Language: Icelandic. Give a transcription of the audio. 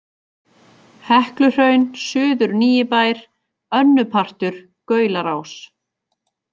Hekluhraun, Suður-Nýibær, Önnupartur, Gaularás